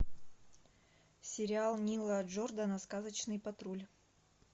сериал нила джордана сказочный патруль